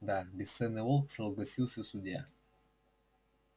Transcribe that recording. да бесценный волк согласился судья